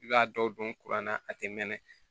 I b'a dɔw don kuran na a tɛ mɛn